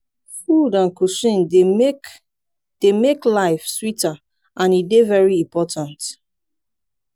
food and cuisine dey make dey make life sweeter and e dey very important.